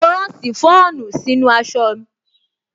Mo rán ṣìfọ́ònù sínú aṣọ